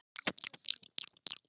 ETA er enn til.